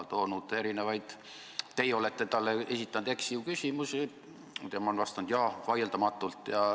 Teie esitasite talle eks-ju-küsimusi, tema vastas, et jaa, vaieldamatult.